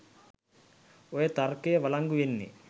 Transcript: ඔය තර්කය වලංගු වෙන්නේ